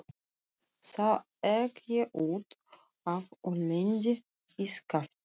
Þá ek ég út af og lendi í skafli.